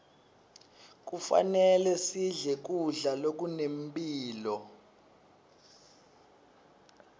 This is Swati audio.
kufanele sidle kudla lokunemphilo